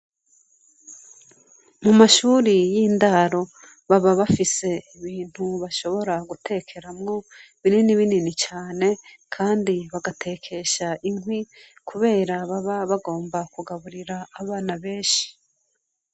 Mu mashure y'indaro baba bafise ibintu bashobra gutekeramwo binini binini cane kandi bagatekesha inkwi kubera baba bagomba kugaburira abana benshi.